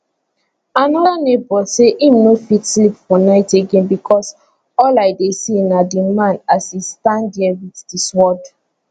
another neighbour say im no fit sleep for night again becos all i dey see na di man as e stand dia wit di sword